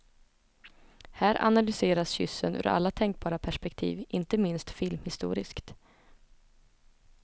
Här analyseras kyssen ur alla tänkbara perspektiv, inte minst filmhistoriskt.